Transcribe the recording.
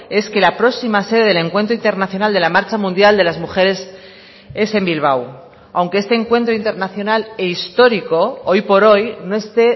es que la próxima sede del encuentro internacional de la marcha mundial de las mujeres es en bilbao aunque este encuentro internacional e histórico hoy por hoy no esté